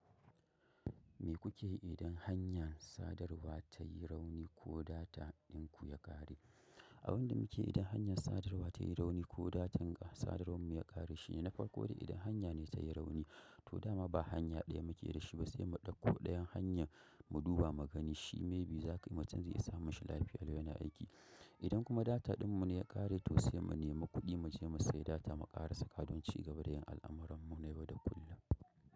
Me kuke idan hanyar sadarwa ta yi rauni ko data din ku ya ƙare? Abin da muke idon hanyar sadarwa ta yi rauni ko data ta sadawar mu ya ƙare shine na farko da idon hanya ne ta yi rauni to dama ba hanya ɗaya muke da shi ba sai mu ɗauko ɗayan hanya mu duba mu gani shi, maybe za ka yi macen zai iya sa mashi lafiya lawan yana aiki. Idan kuma data din mu ne ya ƙare, to sai mu nemi kuɗi mu je mu sayi data mu ƙara saka don cigaba da yin al'amuran mu na yau da kullum.